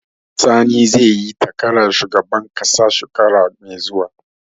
Sani zai yi takarar shugaban ƙasa shekara mai zuwa